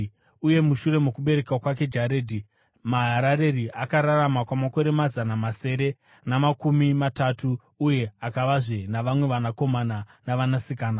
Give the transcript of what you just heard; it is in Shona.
Uye mushure mokubereka kwake Jaredhi, Maharareri akararama kwamakore mazana masere namakumi matatu uye akavazve navamwe vanakomana navanasikana.